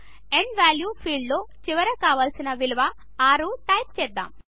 end value ఫీల్డ్లో చివరిగా enter కావలసిన విలువ 6 టైప్ చేద్దాం